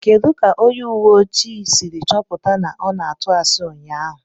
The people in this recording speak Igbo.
Kedu ka onye ùwé ojii ahụ siri chọpụta na ọ na-atụ asi ụnyaahụ?